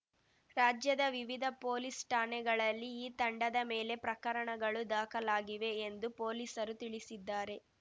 ರಾಜ್ಯದ ವಿವಿಧ ಪೊಲೀಸ್‌ ಠಾಣೆಗಳಲ್ಲಿ ಈ ತಂಡದ ಮೇಲೆ ಪ್ರಕರಣಗಳು ದಾಖಲಾಗಿವೆ ಎಂದು ಪೊಲೀಸರು ತಿಳಿಸಿದ್ದಾರೆ